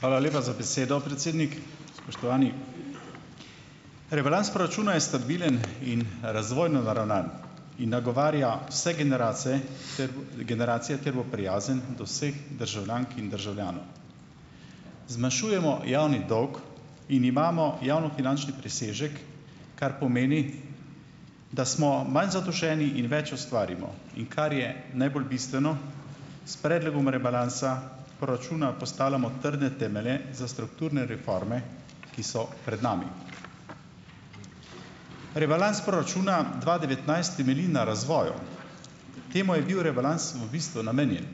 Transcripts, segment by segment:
Hvala lepa za besedo, predsednik. Spoštovani! Rebalans proračuna je stabilen in razvojno naravnan, in nagovarja vse generacije ter generacije ter bo prijazen do vseh državljank in državljanov. Zmanjšujemo javni dolg in imamo javnofinančni presežek, kar pomeni, da smo manj zadolženi in več ustvarimo. In kar je najbolj bistveno, s predlogom rebalansa proračuna postavljamo trdne temelje za strukturne reforme, ki so pred nami. Rebalans proračuna dva devetnajst temelji na razvoju, temu je bil rebalans v bistvu namenjen.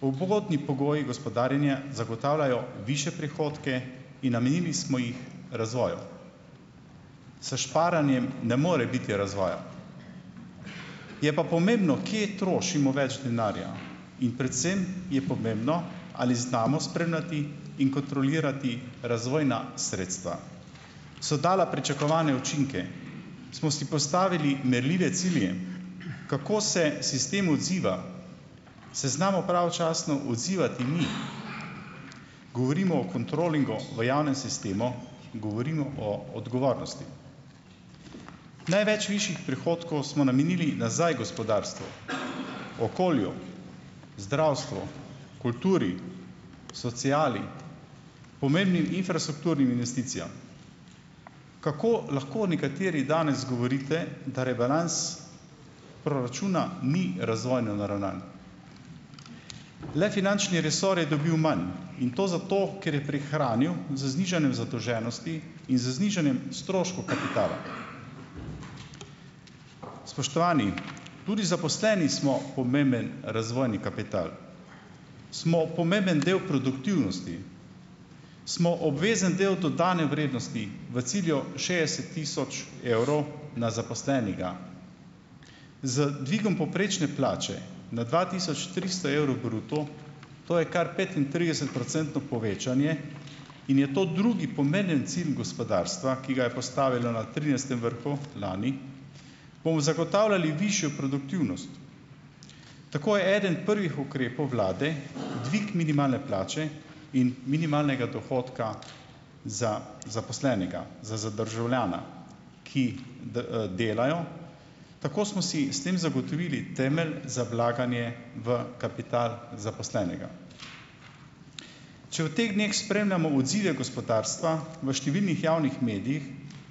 Ugodni pogoji gospodarjenja zagotavljajo višje prihodke in namenili smo jih razvoju. S šparanjem ne more biti razvoja. Je pa pomembno, kje trošimo več denarja, in predvsem je pomembno, ali znamo spremljati in kontrolirati razvojna sredstva, so dala pričakovane učinke, smo si postavili merljive cilje, kako se sistem odziva, se znamo pravočasno odzivati mi, govorimo o kontrolingu v javnem sistemu, govorimo o odgovornosti. Največ višjih prihodkov smo namenili nazaj gospodarstvu, okolju, zdravstvu, kulturi, sociali, pomembnim infrastrukturnim investicijam. Kako lahko nekateri danes govorite, da rebalans proračuna ni razvojno naravnan? Le finančni resor je dobil manj, in to zato, ker je prihranil z znižanjem zadolženosti in z znižanjem stroškov kapitala. Spoštovani, tudi zaposleni smo pomemben razvojni kapital, smo pomemben del produktivnosti, smo obvezen del dodane vrednosti, v cilju šestdeset tisoč evrov na zaposlenega. Z dvigom povprečne plače na dva tisoč tristo evrov bruto - to je kar petintridesetprocentno povečanje in je to drugi pomemben cilj gospodarstva, ki ga je postavilo na trinajstem vrhu lani -, bomo zagotavljali višjo produktivnost. Tako je eden prvih ukrepov vlade dvig minimalne plače in minimalnega dohodka za zaposlenega, za za državljana, ki delajo. Tako smo si s tem zagotovili temelj za vlaganje v kapital zaposlenega. Če v teh dneh spremljamo odzive gospodarstva v številnih javnih medijih,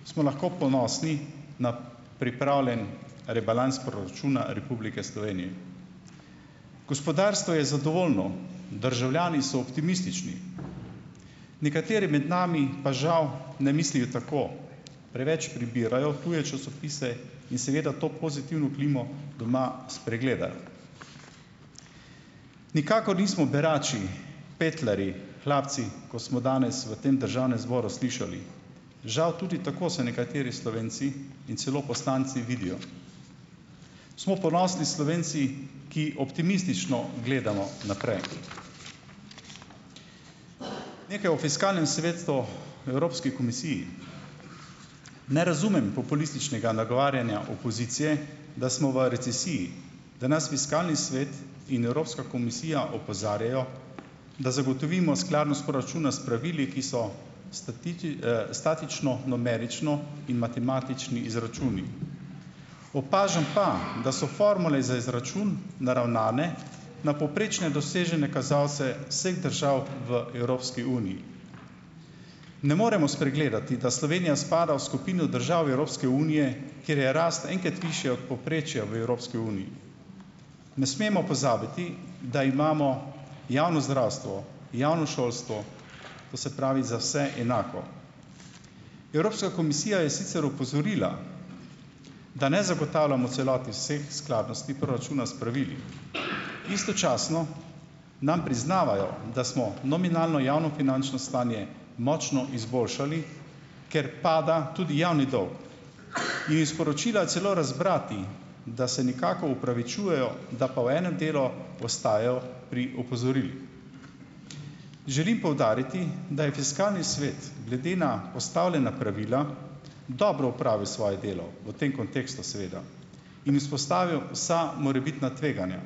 smo lahko ponosni na pripravljen rebalans proračuna Republike Slovenije. Gospodarstvo je zadovoljno, državljani so optimistični. Nekateri med nami pa, žal, ne mislijo tako, preveč prebirajo tuje časopise in seveda to pozitivno klimo doma spregledajo. Nikakor nismo berači, petlarji, hlapci, kot smo danes v tem državnem zboru slišali, žal, tudi tako se nekateri Slovenci in celo poslanci vidijo. Smo ponosni Slovenci, ki optimistično gledamo naprej. Nekaj o fiskalnem svetu v Evropski komisiji. Ne razumem populističnega nagovarjanja opozicije, da smo v recesiji, da nas fiskalni svet in Evropska komisija opozarjajo, da zagotovimo skladnost proračuna s pravili, ki so statični, numerični in matematični izračuni. Opažam pa, da so formule za izračun naravnane na povprečne dosežene kazalce vseh držav v Evropski uniji. Ne moremo spregledati, da Slovenija spada v skupino držav Evropske unije, kjer je rast enkrat višja od povprečja v Evropski uniji. Ne smemo pozabiti, da imamo javno zdravstvo, javno šolstvo, to se pravi, za vse enako. Evropska komisija je sicer opozorila, da ne zagotavljamo v celoti vseh skladnosti proračuna s pravili. Istočasno nam priznavajo, da smo nominalno javnofinančno stanje močno izboljšali, ker pada tudi javni dolg in iz sporočila celo razbrati, da se nekako opravičujejo, da pa v enem delu ostajajo pri opozorilih. Želim poudariti, da je fiskalni svet glede na postavljena pravila dobro opravil svoje delo v tem kontekstu seveda in izpostavil vsa morebitna tveganja.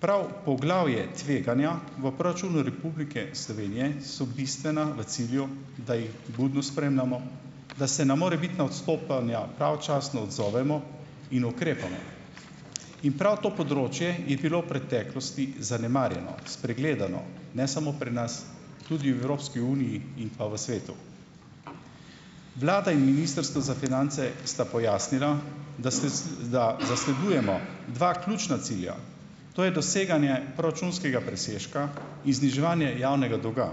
Prav poglavje Tveganja v proračunu Republike Slovenije so bistvena v cilju, da jih budno spremljamo, da se na morebitna odstopanja pravočasno odzovemo in ukrepamo. In prav to področje je bilo V preteklosti zanemarjeno, spregledano, ne samo pri nas, tudi v Evropski uniji in pa v svetu. Vlada in ministrstvo za finance sta pojasnila, da da zasledujemo dva ključna cilja, to je doseganje proračunskega presežka in zniževanje javnega dolga,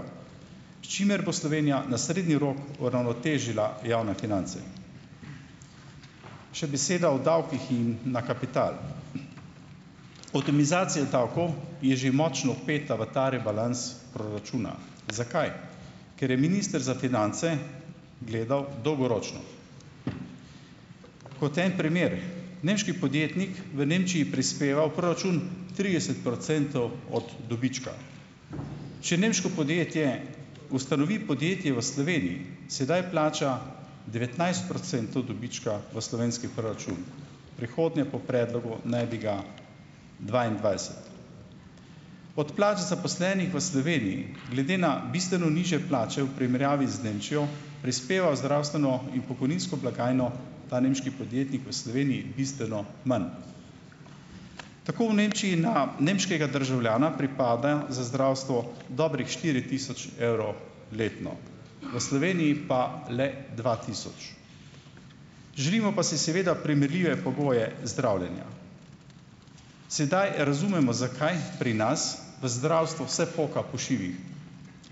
s čimer bo Slovenija na srednji rok uravnotežila javne finance. Še beseda o davkih in na kapital. Optimizacija davkov je že močno vpeta v ta rebalans proračuna - zakaj? Ker je minister za finance gledal dolgoročno. Kot en primer: nemški podjetnik v Nemčiji prispeva v proračun trideset procentov od dobička. Če nemško podjetje ustanovi podjetje v Sloveniji, sedaj plača devetnajst procentov dobička v slovenski proračun. V prihodnje po predlogu naj bi ga dvaindvajset. Od plač zaposlenih v Sloveniji glede na bistveno nižje plače v primerjavi z Nemčijo, prispeva v zdravstveno in pokojninsko blagajno ta nemški podjetnik v Sloveniji bistveno manj. Tako v Nemčiji na nemškega državljana pripada za zdravstvo dobrih štiri tisoč evrov letno. V Sloveniji pa le dva tisoč. Želimo pa si seveda primerljive pogoje zdravljenja. Sedaj razumemo, zakaj pri nas v zdravstvu vse poka po šivih.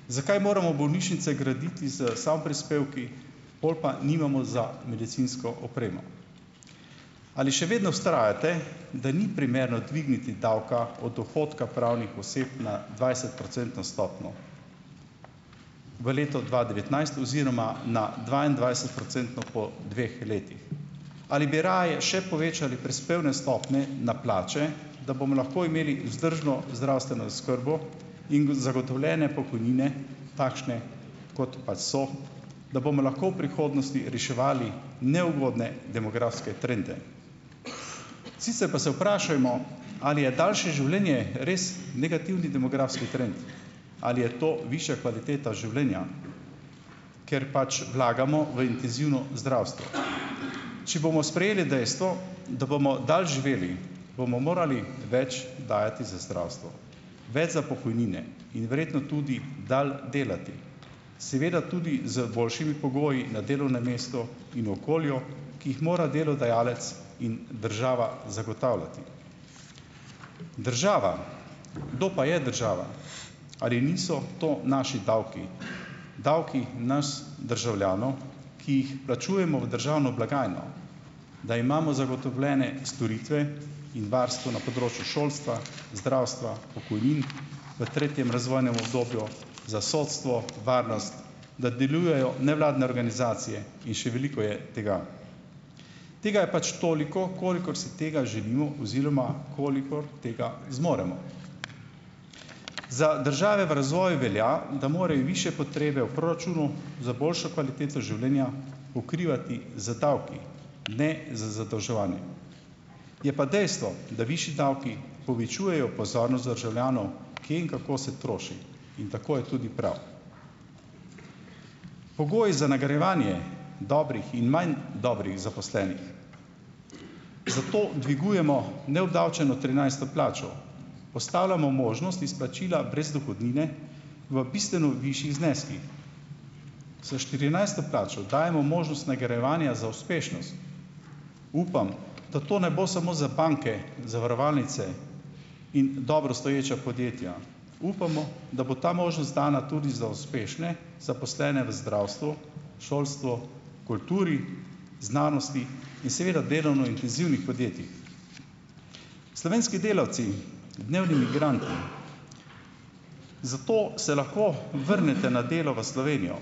Zakaj moramo bolnišnice graditi s samoprispevki, pol pa nimamo za medicinsko opremo? Ali še vedno vztrajate, da ni primerno dvigniti davka od dohodka pravnih oseb na dvajsetprocentno stopnjo v letu dva devetnajst oziroma na dvaindvajsetprocentno po dveh letih? Ali bi raje še povečali prispevne stopnje na plače, da bomo lahko imeli vzdržno zdravstveno oskrbo in zagotovljene pokojnine, takšne, kot pač so, da bomo lahko v prihodnosti reševali neugodne demografske trende. Sicer pa se vprašajmo, ali je daljše življenje res negativni demografski trend, ali je to višja kvaliteta življenja, ker pač vlagamo v intenzivno zdravstvo. Če bomo sprejeli dejstvo, da bomo dalj živeli, bomo morali več dajati za zdravstvo, več za pokojnine in verjetno tudi dlje delati. Seveda tudi z boljšimi pogoji na delovnem mestu in okolju, ki jih mora delodajalec in država zagotavljati. Država, kdo pa je država? Ali niso to naši davki, davki nas državljanov, ki jih plačujemo v državno blagajno, da imamo zagotovljene storitve in varstvo na področju šolstva, zdravstva, pokojnin v tretjem razvojnem obdobju, za sodstvo, varnost, da delujejo nevladne organizacije in še veliko je tega. Tega je pač toliko, kolikor si tega želimo oziroma kolikor tega zmoremo. Za države v razvoju velja, da morajo višje potrebe v proračunu za boljšo kvaliteto življenja pokrivati z davki, ne z zadolževanjem. Je pa dejstvo, da višji davki povečujejo pozornost državljanov, kje in kako se troši, in tako je tudi prav. Pogoji za nagrajevanje dobrih in manj dobrih zaposlenih, zato dvigujemo neobdavčeno trinajsto plačo, postavljamo možnost izplačila brez dohodnine v bistveno višjih zneskih. Za štirinajsto plačo dajemo možnost nagrajevanja za uspešnost. Upam, da to ne bo samo za banke, zavarovalnice in dobro stoječa podjetja. Upamo, da bo ta možnost dana tudi za uspešne zaposlene v zdravstvu, šolstvu, kulturi, znanosti in seveda delovno intenzivnih podjetjih. Slovenski delavci, dnev ni migranti, zato se lahko vrnete na delo v Slovenijo.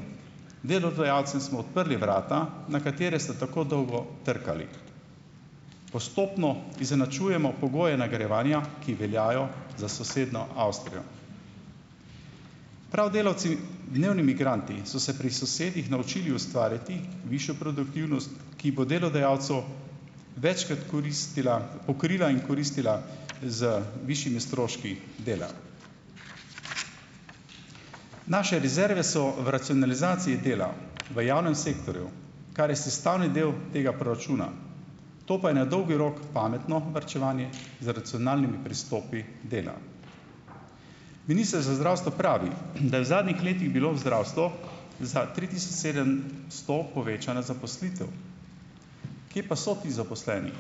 Delodajalcem smo odprli vrata, na katera ste tako dolgo trkali. Postopno izenačujemo pogoje nagrajevanja, ki veljajo za sosednjo Avstrijo. Prav delavci dnevni migranti so se pri sosedih naučili ustvarjati višjo produktivnost, ki bo delodajalcu večkrat koristila pokrila in koristila z višjimi stroški dela. Naše rezerve so v racionalizaciji dela, v javnem sektorju, kar je sestavni del tega proračuna. To pa je na dolgi rok pametno varčevanje z racionalnimi pristopi dela. Minister za zdravstvo pravi, da je v zadnjih letih bilo v zdravstvo za tri tisoč sedemsto povečana zaposlitev. Kje pa so ti zaposleni?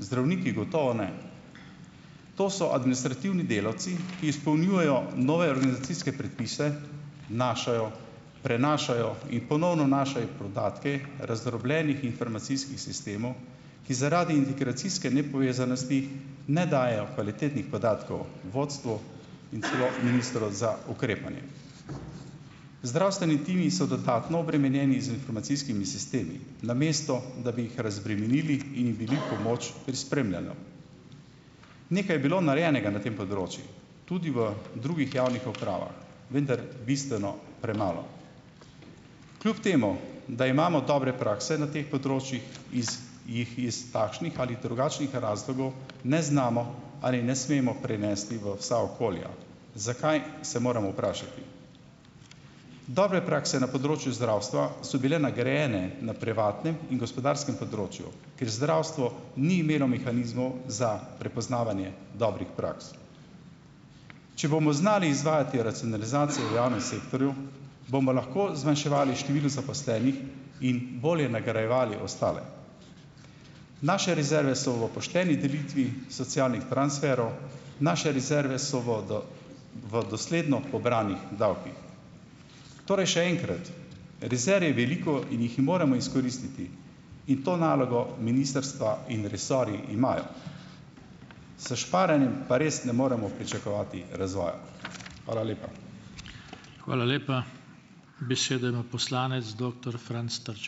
Zdravniki gotovo ne. To so administrativni delavci, ki izpolnjujejo nove organizacijske predpise, vnašajo, prenašajo in ponovno vnašajo podatke razdrobljenih informacijskih sistemov, ki zaradi integracijske nepovezanosti ne dajejo kvalitetnih podatkov vodstvu in sploh ministru za ukrepanje. Zdravstveni timi so dodatno obremenjeni z informacijskimi sistemi, namesto da bi jih razbremenili in jim bili v pomoč pri spremljanju. Nekaj je bilo narejenega na tem področju, tudi v drugih javnih upravah. Vendar bistveno premalo. Kljub temu da imamo dobre prakse na teh področjih, iz jih iz takšnih ali drugačnih razlogov ne znamo ali ne smemo prenesti v vsa okolja. Zakaj, se moramo vprašati. Dobre prakse na področju zdravstva so bile nagrajene na privatnem in gospodarskem področju, ker zdravstvo ni imelo mehanizmov za prepoznavanje dobrih praks. Če bomo znali izvajati racionalizacijo v javnem sektorju, bomo lahko zmanjševali število zaposlenih in bolje nagrajevali ostale. Naše rezerve so v pošteni delitvi socialnih transferov. Naše rezerve so v v dosledno pobranih davkih. Torej, še enkrat, rezerv je veliko in jih moramo izkoristiti. In to nalogo ministrstva in resorji imajo. S šparanjem pa res ne moremo pričakovati razvoja. Hvala lepa.